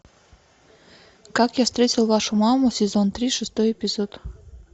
как я встретил вашу маму сезон три шестой эпизод